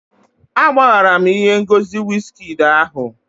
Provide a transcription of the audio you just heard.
Agbaghara m ihe ngosi wizkid ahụ